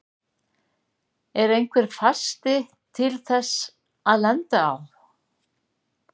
Er einhver fasti til þess að lenda á?